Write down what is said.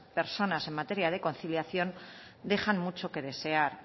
personas en materia de conciliación dejan mucho que desear